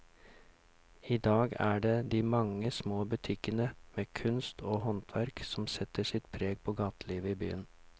I dag er det de mange små butikkene med kunst og håndverk som setter sitt preg på gatelivet i byen.